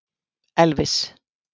Elvis